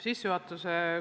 Aitäh!